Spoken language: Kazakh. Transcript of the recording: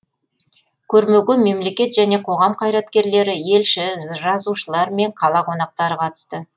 көрмеге мемлекет және қоғам қайраткерлері елші жазушылар мен қала қонақтары қатысты